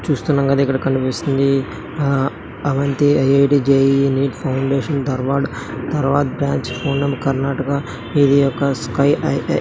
చుస్తునాంగ ఇక్కడ కనిపిస్తుంది Avanti IIT JEE NEET foundations Dharwad Dharwad branch Poonam Karnataka ఇది ఒక స్కయ్ --